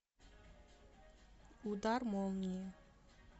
удар молнии